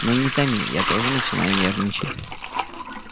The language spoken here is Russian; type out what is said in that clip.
ну не томи я тоже начинаю нервничать